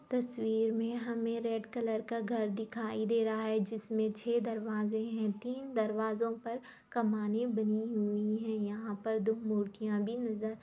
तस्वीर मे हमें रेड कलर का घर दिखाई दे रहा है जिसमें छे दरवाजे है तीन दरवाज़ों पर कमाने बनी हुई है यहां पर दो मूर्तियां भी नजर --